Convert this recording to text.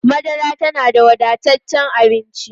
Madara tana da wadataccen abinci.